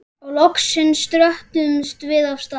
Og loksins dröttuðumst við af stað.